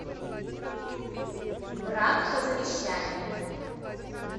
брак по завещанию